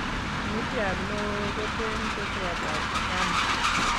Kimitiat neoo koteen keswot ab sesame